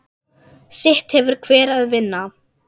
Sitt hefur hver að vinna.